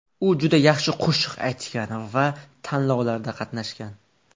U juda yaxshi qo‘shiq aytgan va tanlovlarda qatnashgan.